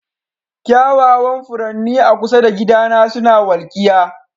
Kyawawan furanni a kusa da gidana suna walkiya.